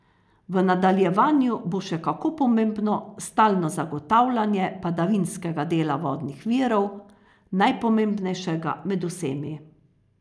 V nadaljevanju bo še kako pomembno stalno zagotavljanje padavinskega dela vodnih virov, najpomembnejšega med vsemi.